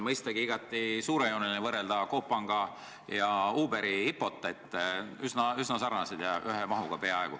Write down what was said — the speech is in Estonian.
Mõistagi on igati suurejooneline võrrelda Coop Panga ja Uberi IPO-t – üsna sarnased ja peaaegu ühe mahuga.